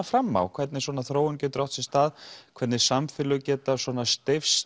fram á hvernig svona þróun getur átt sér stað hvernig samfélög geta